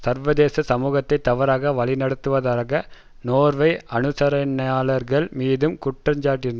சர்வதேச சமூகத்தை தவறாக வழிநடத்துவதாக நோர்வே அனுசரணையாளர்கள் மீதும் குற்றஞ்சாட்டினார்